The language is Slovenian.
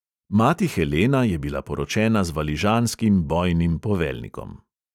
Mati helena je bila poročena z valižanskim bojnim poveljnikom.